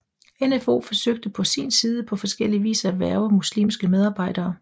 NfO forsøgte på sin side på forskellie vis at hverve muslimske medarbejdere